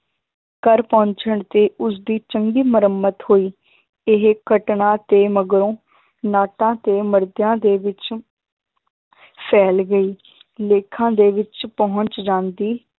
ਘਰ ਪਹੁੰਚਣ ਤੇ ਉਸਦੀ ਚੰਗੀ ਮੁਰੰਮਤ ਹੋਈ ਇਹ ਘਟਨਾ ਤੇ ਮਗਰੋਂ ਨਾਟਾਂ ਤੇ ਦੇ ਵਿੱਚ ਫੈਲ ਗਈ ਲੇਖਾਂ ਦੇ ਵਿੱਚ ਪਹੁੰਚ ਜਾਂਦੀ